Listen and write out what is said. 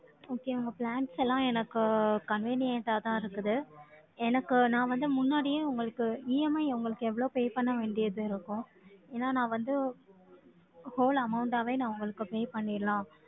Okay, உங்க plans எல்லாம், எனக்கு convenient ஆதான் இருக்குது. எனக்கு, நான் வந்து, முன்னாடியே உங்களுக்கு, EMI உங்களுக்கு எவ்வளவு pay பண்ண வேண்டியது இருக்கும். ஏன்னா, நான் வந்து, whole amount ஆவே, நான் உங்களுக்கு pay பண்ணிடலாம்.